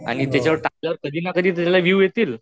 आणि त्याच्यावर टाकलं तर कधीना कधीतर त्याला विव येतील